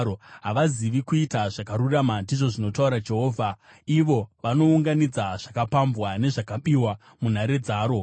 “Havazivi kuita zvakarurama,” ndizvo zvinotaura Jehovha, “ivo vanounganidza zvakapambwa nezvakabiwa munhare dzaro.”